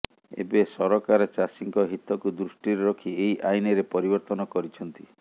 ଏବେ ସରକାର ଚାଷୀଙ୍କ ହିତକୁ ଦୃଷ୍ଟିରେ ରଖି ଏହି ଆଇନରେ ପରିବର୍ତ୍ତନ କରିଛନ୍ତି